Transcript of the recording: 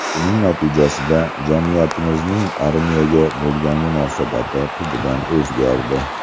Buning natijasida jamiyatimizning armiyaga bo‘lgan munosabati tubdan o‘zgardi.